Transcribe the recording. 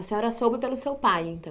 A senhora soube pelo seu pai, então?